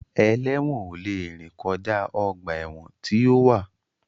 Ẹlẹ́wọ̀n ò lè rìn kọjá ọgbà ẹ̀wọ̀n tí ó wà